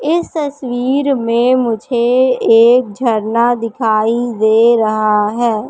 इस तस्वीर में मुझे एक झरना दिखाई दे रहा है।